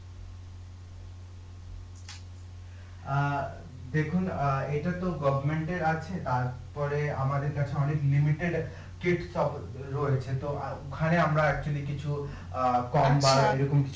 অ্যাঁ দেখুন অ্যাঁ এটা তো এর আছে তারপরে আমাদের কাছে অনেক রয়েছে তো ওখানে আমরা কিছু অ্যাঁ এবং